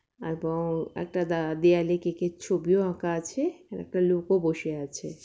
আর বও একটা দা দেওয়ালে কেক এর ছবি ও আঁকা আছে একটা লোক ও বসে আছে।